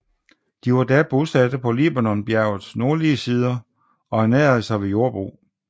De var da bosatte på Libanonbjergets nordlige sider og ernærede sig ved jordbrug